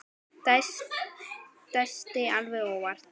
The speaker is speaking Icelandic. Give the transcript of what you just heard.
Dæsti alveg óvart.